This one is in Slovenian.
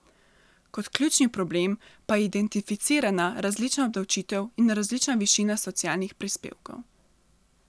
Kot ključni problem pa je identificirana različna obdavčitev in različna višina socialnih prispevkov.